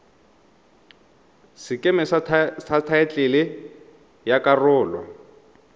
sekeme sa thaetlele ya karolo